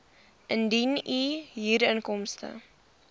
indien u huurinkomste